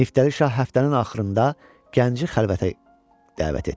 Niftəli şah həftənin axırında gənci xəlvətə dəvət etdi.